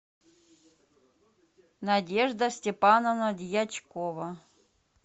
надежда степановна дьячкова